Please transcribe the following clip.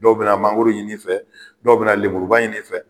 Dɔw bɛna mangoro ɲin'i fɛ, dɔw bɛna lemuruba ɲin'i fɛ. Ɛ